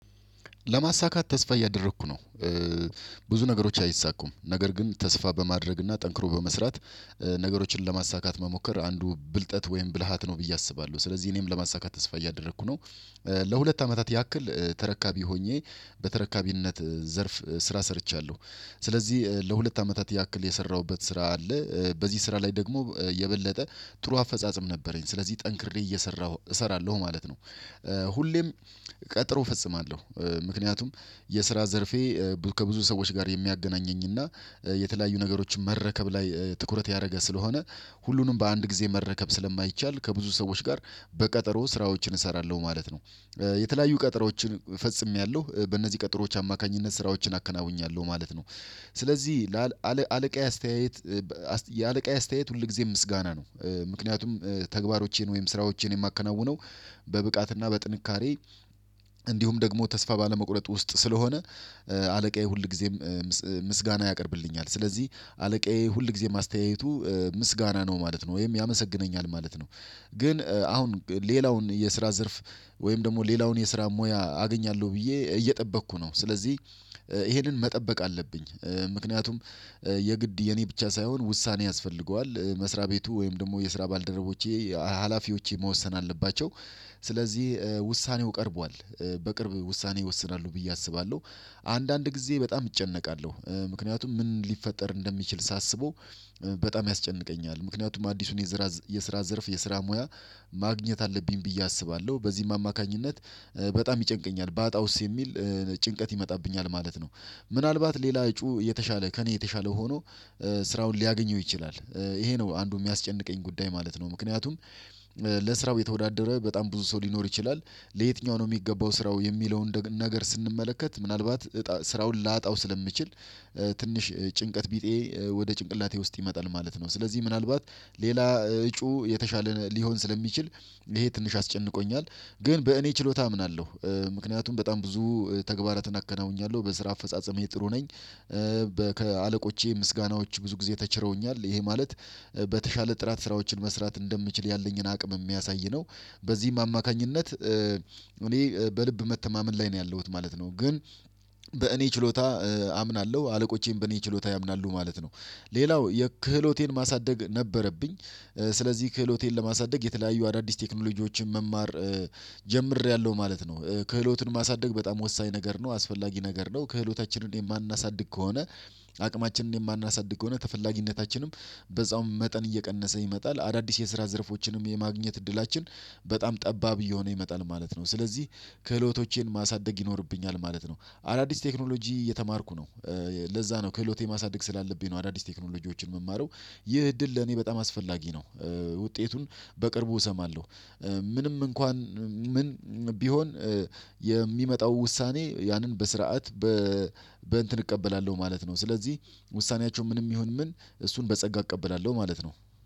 ለማሳካት ተስፋ እያደረኩ ነው። ብዙ ነገሮች አይሳኩም። ነገር ግን ተስፋ በማድረግና ጠንክሮ በመስራት ነገሮችን ለማሳካት መሞከር አንዱ ብልጠት ወይም ብልሃት ነው ብዬ አስባለሁ። ስለዚህ እኔም ለማሳካት ተስፋ እያደረኩ ነው። ለሁለት አመታት ያክል ተረካቢ ሆኜ በተረካቢነት ዘርፍ ስራ ሰርቻለሁ። ስለዚህ ለሁለት አመታት ያክል የሰራሁበት ስራ አለ። በዚህ ስራ ላይ ደግሞ የበለጠ ጥሩ አፈጻጸም ነበረኝ። ስለዚህ ጠንክሬ እየሰራሁ እሰራለሁ ማለት ነው። ሁሌም ቀጥሮ እፈጽማለሁ። ምክንያቱም የስራ ዘርፌ ከብዙ ሰዎች ጋር የሚያገናኘኝና የተለያዩ ነገሮችን መረከብ ላይ ትኩረት ያደረገ ስለሆነ ሁሉንም በአንድ ጊዜ መረከብ ስለማይቻል ከብዙ ሰዎች ጋር በቀጠሮ ስራዎችን እሰራለሁ ማለት ነው። የተለያዩ ቀጠሮዎችን ፈጽሜያለሁ። በእነዚህ ቀጠሮዎች አማካኝነት ስራዎችን አከናውኛለሁ ማለት ነው። ስለዚህ አለቃዬ አስተያየት የአለቃዬ አስተያየት ሁልጊዜም ምስጋና ነው። ምክንያቱም ተግባሮቼን ወይም ስራዎቼን የማከናውነው በብቃትና በጥንካሬ እንዲሁም ደግሞ ተስፋ ባለመቁረጥ ውስጥ ስለሆነ አለቃዬ ሁል ጊዜም ምስጋና ያቀርብልኛል። ስለዚህ አለቃዬ ሁል ጊዜም አስተያየቱ ምስጋና ነው ማለት ነው ወይም ያመሰግነኛል ማለት ነው። ግን አሁን ሌላውን የስራ ዘርፍ ወይም ደግሞ ሌላውን የስራ ሙያ አገኛለሁ ብዬ እየጠበቅኩ ነው። ስለዚህ ይሄንን መጠበቅ አለብኝ። ምክንያቱም የግድ የኔ ብቻ ሳይሆን ውሳኔ ያስፈልገዋል መስሪያ ቤቱ ወይም ደግሞ የስራ ባልደረቦቼ ሀላፊዎቼ መወሰን አለባቸው። ስለዚህ ውሳኔው ቀርቧል። በቅርብ ውሳኔ ይወስናሉ ብዬ አስባለሁ። አንዳንድ ጊዜ በጣም እጨነቃለሁ። ምክንያቱም ምን ሊፈጠር እንደሚችል ሳስበው በጣም ያስጨንቀኛል። ምክንያቱም አዲሱን የዘራ የስራ ዘርፍ የስራ ሙያ ማግኘት አለብኝ ብዬ አስባለሁ። በዚህም አማካኝነት በጣም ይጨንቀኛል ባጣ ውስጥ የሚል ጭንቀት ይመጣብኛል ማለት ነው። ምናልባት ሌላ እጩ የተሻለ ከእኔ የተሻለ ሆኖ ስራውን ሊያገኘው ይችላል። ይሄ ነው አንዱ የሚያስጨንቀኝ ጉዳይ ማለት ነው። ምክንያቱም ለስራው የተወዳደረ በጣም ብዙ ሰው ሊኖር ይችላል ለየትኛው ነው የሚገባው ስራው የሚለውን ነገር ስንመለከት ምናልባት ስራውን ላጣው ስለምችል ትንሽ ጭንቀት ቢጤ ወደ ጭንቅላቴ ውስጥ ይመጣል ማለት ነው። ስለዚህ ምናልባት ሌላ እጩ የተሻለ ሊሆን ስለሚችል ይሄ ትንሽ አስጨንቆኛል። ግን በእኔ ችሎታ አምናለሁ። ምክንያቱም በጣም ብዙ ተግባራትን አከናውኛለሁ በስራ አፈጻጸሜ ጥሩ ነኝ። ከአለቆቼ ምስጋናዎች ብዙ ጊዜ ተችረውኛል። ይሄ ማለት በተሻለ ጥራት ስራዎችን መስራት እንደምችል ያለኝን አቅም የሚያሳይ ነው። በዚህም አማካኝነት እኔ በልብ መተማመን ላይ ነው ያለሁት ማለት ነው። ግን በእኔ ችሎታ አምናለሁ አለቆቼን በእኔ ችሎታ ያምናሉ ማለት ነው። ሌላው የክህሎቴን ማሳደግ ነበረብኝ። ስለዚህ ክህሎቴን ለማሳደግ የተለያዩ አዳዲስ ቴክኖሎጂዎችን መማር ጀምሬያለሁ ማለት ነው። ክህሎቱን ማሳደግ በጣም ወሳኝ ነገር ነው አስፈላጊ ነገር ነው። ክህሎታችንን የማናሳድግ ከሆነ አቅማችንን የማናሳድግ ከሆነ ተፈላጊነታችንም በዛውም መጠን እየቀነሰ ይመጣል። አዳዲስ የስራ ዘርፎችንም የማግኘት እድላችን በጣም ጠባብ እየሆነ ይመጣል ማለት ነው። ስለዚህ ከህሎቶቼን ማሳደግ ይኖርብኛል ማለት ነው። አዳዲስ ቴክኖሎጂ እየተማርኩ ነው። ለዛ ነው ከህሎቴ ማሳደግ ስላለብኝ ነው አዳዲስ ቴክኖሎጂዎችን የምማረው። ይህ እድል ለኔ በጣም አስፈላጊ ነው። ውጤቱን በቅርቡ እሰማለሁ። ምንም እንኳን ምን ቢሆን የሚመጣው ውሳኔ ያንን በስርዓት በ በእንትን እቀበላለሁ ማለት ነው። ስለዚህ ውሳኔያቸው ምንም ይሁን ምን እሱን በጸጋ እቀበላለሁ ማለት ነው።